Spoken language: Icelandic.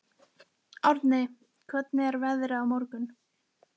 Árni, hvernig er veðrið á morgun?